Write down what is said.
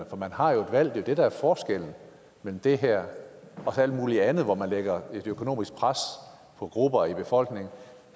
for man har jo et valg det er det der er forskellen mellem det her og alt muligt andet hvor man lægger et økonomisk pres på grupper i befolkningen